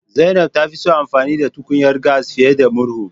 Zainab ta fi son amfani da tukunyar gas fiye da murhu